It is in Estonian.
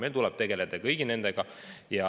Meil tuleb tegeleda nende kõigiga.